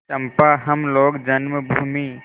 चंपा हम लोग जन्मभूमि